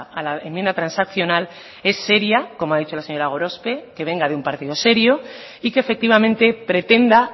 a la enmienda transaccional es seria como ha dicho la señora gorospe que venga de un partido serio y que efectivamente pretenda